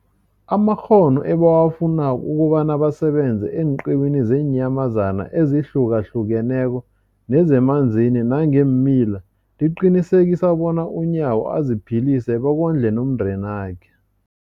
amakghono ebawafunako ukobana basebenze eenqiwini zeenyamazana ezihlukahlukeneko nezemanzini nangeemila, liqinisekisa bona uNyawo aziphilise bekondle nomndenakhe.